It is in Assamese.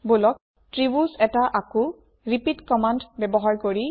বলক ত্ৰিভূজ এটা আকোঁ ৰিপিট কম্মান্দ ব্যৱহাৰ কৰি